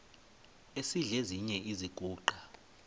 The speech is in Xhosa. esidl eziny iziguqa